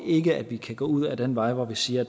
ikke at vi kan gå ud ad den vej hvor vi siger